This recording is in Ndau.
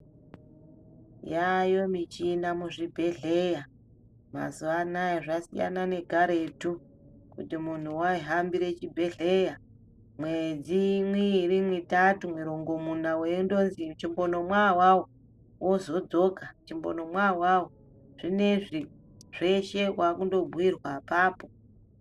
Yaayo michina muzvibhedhleya. Mazuva anaya zvasiyana nekaretu kuti muntu waihambire chibhehleya mwedzi miiri, mitatu, mirongomuna weindonzi chimbonomwa awawo wozodzoka, chimbonomwa awawo. Zvinezvi zveshe waakundobhuirwa apapo.